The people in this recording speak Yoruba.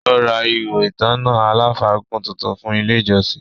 Ó ra “ihò ìtanná aláfàgùn” tuntun fún ile ìjọsìn